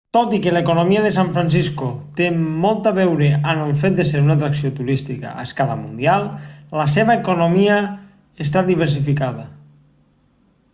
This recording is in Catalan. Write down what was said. tot i que l'economia de san francisco té molt a veure amb el fet de ser una atracció turística a escala mundial la seva economia està diversificada